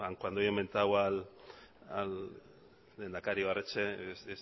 cuando yo he mentado al lehendakari ibarretxe